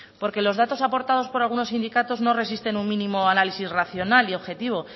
porque los datos aportados por algunos sindicatos no resisten un mínimo análisis racional y objetivo